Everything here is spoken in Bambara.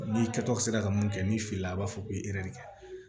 N'i kɛtɔ sera ka mun kɛ n'i filila a b'a fɔ ko i yɛrɛ de